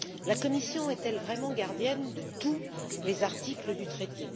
La commission est elle vraiment gardienne de tous les articles du traité?